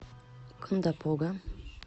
кондопога